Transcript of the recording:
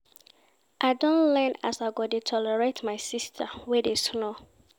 I don learn as I go dey tolerate my sista wey dey snore.